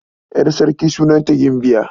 Ƴar sarki sunanta Gimbiya.